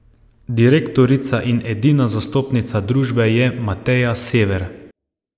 Direktorica in edina zastopnica družbe je Mateja Sever.